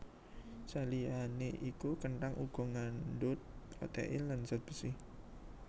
Saliyané iku kenthang uga ngandhut protein lan zat besi